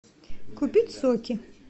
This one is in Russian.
купить соки